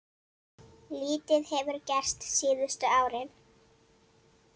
Lítið hefur gerst síðustu árin.